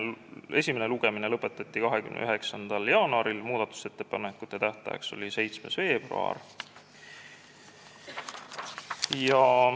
Esimene lugemine lõpetati 29. jaanuaril, muudatusettepanekute esitamise tähtajaks määrati 7. veebruar.